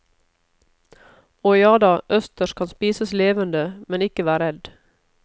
Og jada, østers skal spises levende, men ikke vær redd.